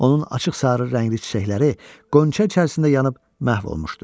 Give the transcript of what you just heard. Onun açıq sarı rəngli çiçəkləri qönçə içərisində yanıb məhv olmuşdu.